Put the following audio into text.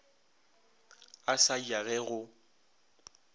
a sa ja ge go